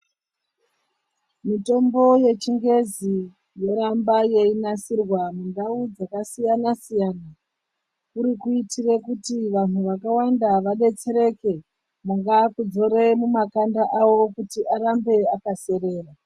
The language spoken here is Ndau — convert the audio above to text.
Mitombo yechingezi yoramba yeinasirwa mundau dzakasiyana-siyana, kuri kuitire kuti vanhu vakawanda vadetsereke kungaa kudzore mumakanda awo kuti arambe akaserera.